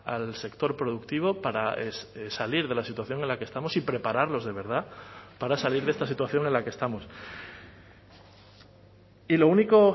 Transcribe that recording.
al sector productivo para salir de la situación en la que estamos y prepararlos de verdad para salir de esta situación en la que estamos y lo único